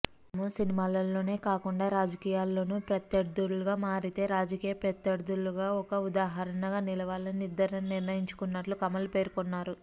తాము సినిమాల్లోనే కాకుండా రాజకీయాల్లోనూ ప్రత్యర్థులుగా మారితే రాజకీయ ప్రత్యర్థులకు ఒక ఉదాహరణగా నిలవాలని ఇద్దరం నిర్ణయించుకున్నట్టు కమల్ పేర్కొన్నారు